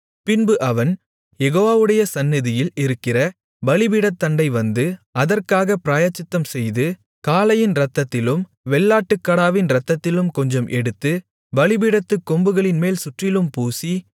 பின்பு அவன் யெகோவாவுடைய சந்நிதியில் இருக்கிற பலிபீடத்தண்டை வந்து அதற்காகப் பிராயச்சித்தம்செய்து காளையின் இரத்தத்திலும் வெள்ளாட்டுக் கடாவின் இரத்தத்திலும் கொஞ்சம் எடுத்து பலிபீடத்துக் கொம்புகளின்மேல் சுற்றிலும் பூசி